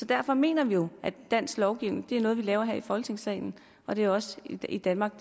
derfor mener vi jo at dansk lovgivning er noget vi laver her i folketingssalen og det er også i danmark